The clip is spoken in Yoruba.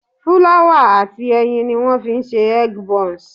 Fúláwà àti ẹyin ni wọ́n fi ń ṣe egg bonze